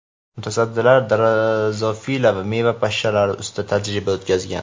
mutaxassislar drozofila meva pashshalari ustida tajriba o‘tkazgan.